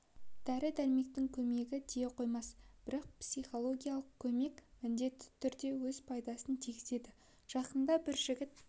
дәрі-дәрмектің көмегі тие қоймас бірақ психологиялық көмек міндетті түрде өз пайдасын тигізеді жақында бір жігіт